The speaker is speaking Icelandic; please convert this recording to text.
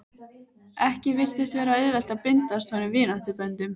Ekki virtist vera auðvelt að bindast honum vináttuböndum.